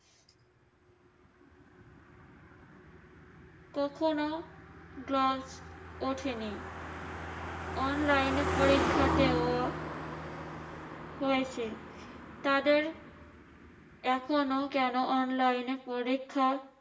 কখনো ওঠেনি। online এ পরীক্ষা দেওয়া হয়েছে। তাদের এখনো কেন online এ পরীক্ষা